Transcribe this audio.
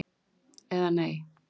Eða nei.